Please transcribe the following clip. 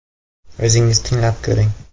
O‘zingiz tinglab ko‘ring.